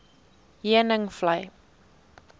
heuningvlei